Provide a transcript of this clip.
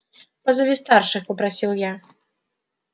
позови старших попросил я